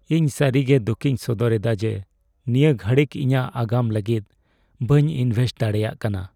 ᱤᱧ ᱥᱟᱹᱨᱤᱜᱮ ᱫᱩᱠᱤᱧ ᱥᱚᱫᱚᱨ ᱮᱫᱟ ᱡᱮ ᱱᱤᱭᱟᱹ ᱜᱷᱟᱹᱲᱤᱡᱽ ᱤᱧᱟᱹᱜ ᱟᱜᱟᱢ ᱞᱟᱹᱜᱤᱫ ᱵᱟᱹᱧ ᱤᱱᱵᱷᱮᱥᱴ ᱫᱟᱲᱮᱭᱟᱜ ᱠᱟᱱᱟ ᱾